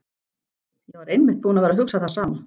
Ég var einmitt búin að vera að hugsa það sama.